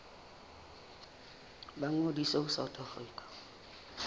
ba ngodise ho south african